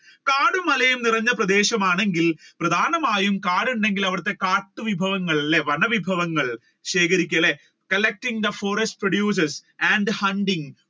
കാടും മലയും നിറഞ്ഞ പ്രദേശമാണ് ഗിൽ പ്രധാനാമായും കാടുണ്ടെങ്കിൽ അവിടത്തെ കാട്ടുവിഭവങ്ങൾ അല്ലെ വന വിഭവങ്ങൾ ശേഖരിക്കും അല്ലെ collecting the forest produces and hunting